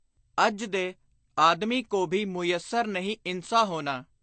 ਅੱਜ ਦੇ “ਆਦਮੀ ਕੋ ਭੀ ਮੁਯੱਸਰ ਨਹੀਂ ਇਨਸਾਂ ਹੋਨਾ।